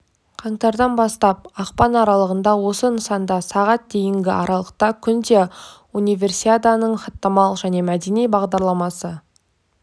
қаңтардан бастап ақпан аралығында осы нысанда сағат дейінгі аралықта күнде универсиаданың хаттамалық және мәдени бағдарламасы